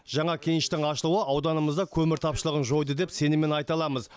жаңа кеніштің ашылуы ауданымызда көмір тапшылығы жойды деп сеніммен айта аламыз